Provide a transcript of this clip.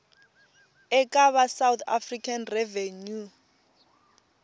eka va south african revenue